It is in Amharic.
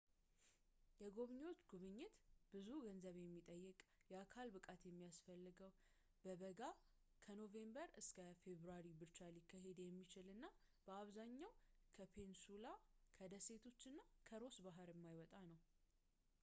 የጎብኚዎች ጉብኝት ብዙ ገንዘብ የሚጠይቅ የአካል ብቃት የሚያስፈልገው በበጋ ከኖቬምበር ፌብራሪ ብቻ ሊካሄድ የሚችል እና በአብዛኛው ከፔኒንሱላ ከደሴቶች እና ከሮስ ባህር የማይወጣ ነው